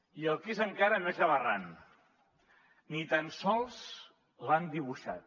i el que és encara més aberrant ni tan sols l’han dibuixat